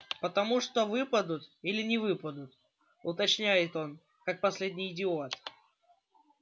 потому что выпадут или не выпадут уточняет он как последний идиот